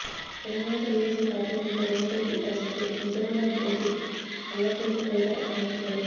Telangana Telugu Desam party నేత Revanth Reddy arrest పై Nizamabad MP Kalvakuntla Kavitha స్పందించారు